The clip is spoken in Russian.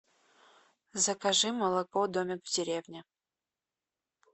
закажи молоко домик в деревне